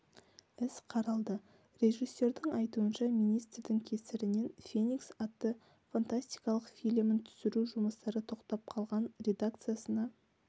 іс қаралды режиссердың айтуынша министрдің кесірінен феникс атты фантастикалық фильмін түсіру жұмыстары тоқтап қалған редакциясына